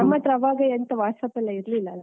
ನಮ್ಮತ್ರ ಆವಗೆಂತ WhatsApp ಎಲ್ಲ ಇರ್ಲಿಲ್ಲ ಅಲ್ಲ.